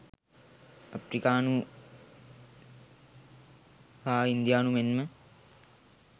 අප්‍රිකානු හා ඉන්දියානු මෙන්ම